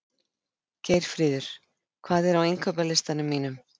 Geirfríður, hvað er á innkaupalistanum mínum?